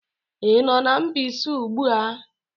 Ị nọ na Mbaise ugbu a?